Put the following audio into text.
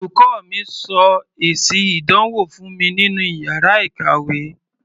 Olùkọ́ mi sọ èsì ìdánwò fún mi nínú iyàrá ìkàwé.